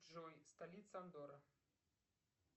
джой столица андорры